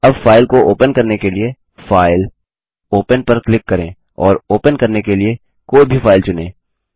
अब फाइल को ओपन करने के लिए फाइल ओपन पर क्लिक करें और ओपन करने के लिए कोई भी फाइल चुनें